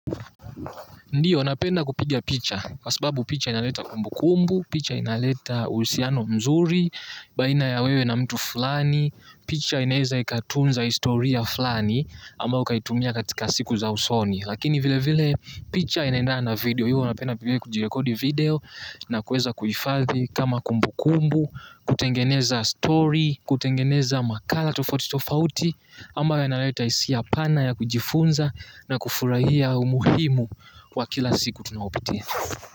Ndiyo, napenda kupigia picha, kwa sababu picha inaleta kumbu kumbu, picha inaleta uhusiano mzuri, baina ya wewe na mtu fulani, picha inaeza ikatunza historia fulani, ama ukaitumia katika siku za usoni. Lakini vile vile picha enaendana video hiyo unapenda pengine kujirekodi video nakuweza kuhifadhi kama kumbu kumbu, kutengeneza story, kutengeneza makala tofauti tofauti, ambao yanaleta hisia pana ya kujifunza na kufurahia umuhimu wa kila siku tunayopitia.